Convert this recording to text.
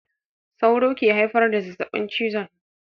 Sauro ke haifar da zazzabin cizon.